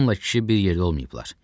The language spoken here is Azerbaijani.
Qadınla kişi bir yerdə olmayıblar.